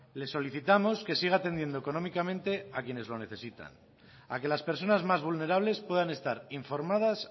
le solicitamos que siga atendiendo económicamente a quienes lo necesitan a que las personas más vulnerables puedan estar informadas